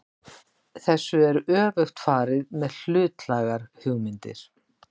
Þessu er öfugt farið með hlutlægar hugmyndir.